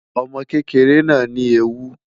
Ọmọ kekere naa ni eewu